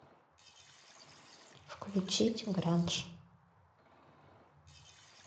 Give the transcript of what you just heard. включить гранж